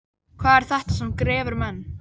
Hvað er þetta sem grefur menn?